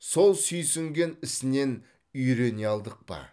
сол сүйінген ісінен үйрене алдық па